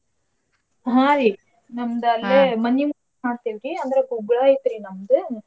ಹಾ ರಿ ಮನಿಮುಂದ್ ಮಾಡತೇವ್ರಿ ಅಂದ್ರ ಗುಗ್ಗಳ ಐತ್ರಿ ನಮ್ದ.